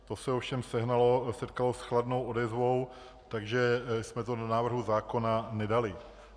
To se ovšem setkalo s chladnou odezvou, takže jsme to do návrhu zákona nedali.